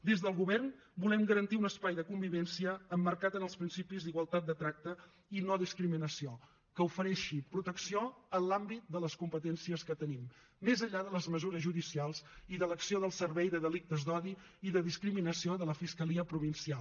des del govern volem garantir un espai de convivència emmarcat en els principis d’igualtat de tracte i no discriminació que ofereixi protecció en l’àmbit de les competències que tenim més enllà de les mesures judicials i de l’acció del servei de delictes d’odi i discriminació de la fiscalia provincial